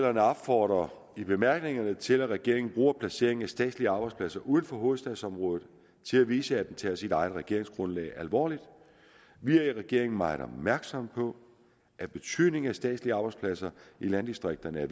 opfordrer i bemærkningerne til at regeringen bruger placeringen af statslige arbejdspladser uden for hovedstadsområdet til at vise at den tager sit eget regeringsgrundlag alvorligt vi er i regeringen meget opmærksomme på at betydningen af statslige arbejdspladser i landdistrikterne er